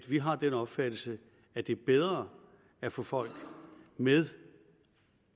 vi har den opfattelse at det er bedre at få folk med